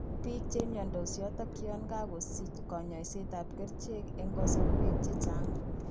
Biik chemiondos yooton yoon kakosich kanyoseet ab kercheek eng kasorweek chechang'